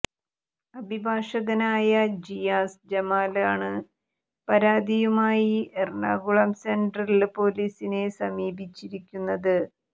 അഭിഭാഷകനയായ ജിയാസ് ജമാലാണ് പരാതിയുമായി എറണാകുളം സെന്ട്രല് പോലീസിനെ സമീപിച്ചിരിക്കുന്നത്